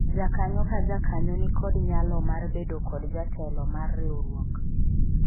jakanyo ka jakanyo nikod nyalo mar bedo kod jatelo mar riwruok